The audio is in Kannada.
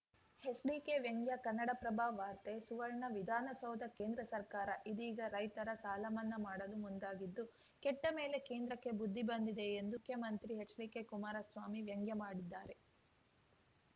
ಚ್‌ಡಿಕೆ ವ್ಯಂಗ್ಯ ಕನ್ನಡಪ್ರಭ ವಾರ್ತೆ ಸುವರ್ಣ ವಿಧಾನಸೌಧ ಕೇಂದ್ರ ಸರ್ಕಾರ ಇದೀಗ ರೈತರ ಸಾಲಮನ್ನಾ ಮಾಡಲು ಮುಂದಾಗಿದ್ದು ಕೆಟ್ಟಮೇಲೆ ಕೇಂದ್ರಕ್ಕೆ ಬುದ್ಧಿ ಬಂದಿದೆ ಎಂದು ಮುಖ್ಯಮಂತ್ರಿ ಎಚ್‌ಡಿಕುಮಾರಸ್ವಾಮಿ ವ್ಯಂಗ್ಯಮಾಡಿದ್ದಾರೆ